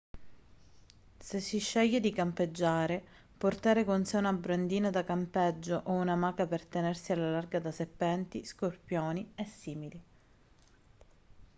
se si sceglie di campeggiare portare con sé una brandina da campeggio o un'amaca per tenersi alla larga da serpenti scorpioni e simili